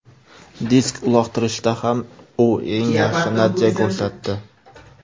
Disk uloqtirishda ham u eng yaxshi natija ko‘rsatdi.